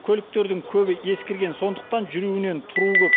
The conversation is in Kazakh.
көліктердің көбі ескірген сондықтан жүруінен тұруы көп